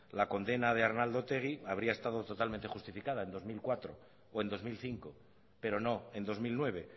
la condena de arnaldo otegi habría estado totalmente justificada en dos mil cuatro o en dos mil cinco pero no en dos mil nueve